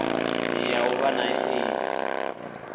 ya u vha na aids